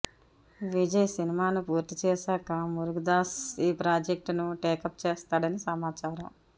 విజయ్ సినిమాను పూర్తి చేశాక మురుగదాస్ ఈ ప్రాజెక్టును టేకప్ చేస్తాడని సమాచారం